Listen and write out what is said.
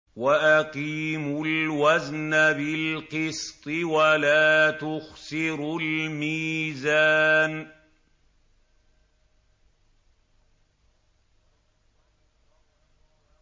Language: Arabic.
وَأَقِيمُوا الْوَزْنَ بِالْقِسْطِ وَلَا تُخْسِرُوا الْمِيزَانَ